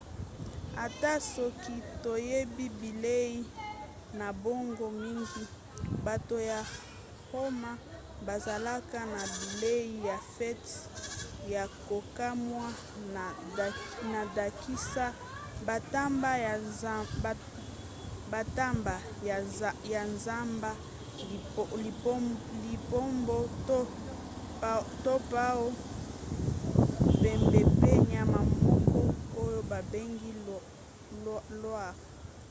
ata soki toyebi bilei na bango mingi bato ya roma bazalaka na bilei ya fete ya kokamwa na ndakisa bantaba ya zamba lipombo to paon mbembe pe nyama moko oyo babengi loir